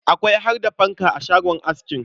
Akwai har da fanka a shagon askin.